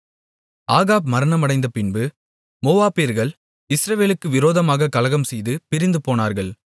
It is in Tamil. ஆகாப் மரணமடைந்தபின்பு மோவாபியர்கள் இஸ்ரவேலுக்கு விரோதமாகக் கலகம்செய்து பிரிந்துபோனார்கள்